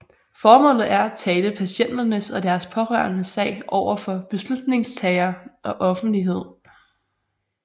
Formålet er at tale patienternes og deres pårørendes sag over for beslutningstagere og offentlighed